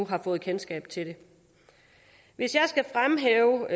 har fået kendskab til det hvis jeg skal fremhæve